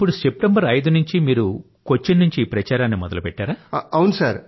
ఇప్పుడు సెప్టెంబర్ 5 నుండీ మీరు కొచ్చిన్ నుండి ఈ ప్రచారాన్ని మొదలుపెట్టారా